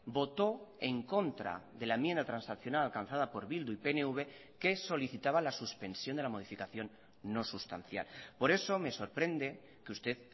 votó en contra de la enmienda transaccional alcanzada por bildu y pnv que solicitaba la suspensión de la modificación no sustancial por eso me sorprende que usted